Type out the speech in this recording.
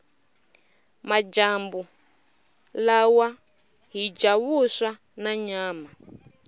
majambu lawa hhija vuswa nanyama